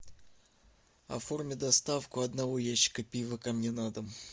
оформи доставку одного ящика пива ко мне на дом